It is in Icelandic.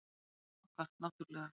Prinsinn okkar, náttúrlega.